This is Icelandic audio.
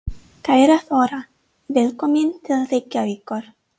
Kæra Þóra. Velkomin til Reykjavíkur.